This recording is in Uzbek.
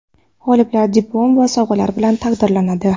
G‘oliblar diplom va sovg‘alar bilan taqdirlanadi.